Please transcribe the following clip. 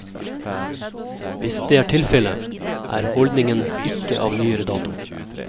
Hvis det er tilfellet, er holdningen ikke av nyere dato.